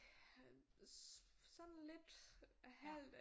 Sådan lidt halvt